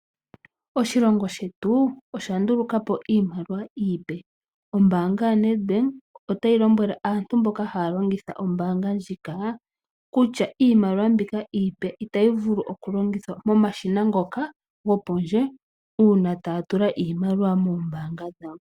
Oshilongo shetu oshandulukapo iimaliwa iipe ombanga ya Nedbank otayi lombwele aantu mboka haya longitha ombanga ndjika kutya iimaliwa mbika iipe itayi vulu okulongithwa momashina ngoka go pondje uuna taya tula iimaliwa mombanga dhawo.